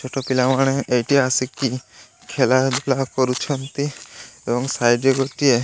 ଛୋଟ ପିଲାମାନେ ଏଇଠି ଆସିକି ଖେଳା ବୁଲା କରୁଛନ୍ତି ଏବଂ ସାଇଟ୍ ରେ ଗୋଟିଏ --